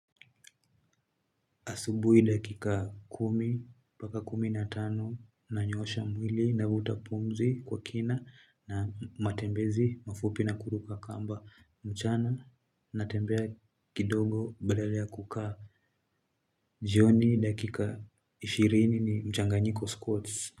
Asubuhi dakika kumi, mpaka kumi na tano, nanyoosha mwili, navuta pumzi kwa kina, na matembezi, mafupi na kuruka kamba mchana, natembea kidogo badala ya kukaa, jioni dakika ishirini ni mchanganyiko scouts.